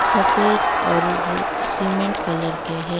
सफेद और cement colour के हैं।